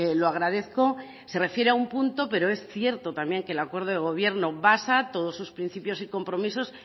lo agradezco se refiere a un punto pero es cierto también que el acuerdo de gobierno basa todos sus principios y compromisos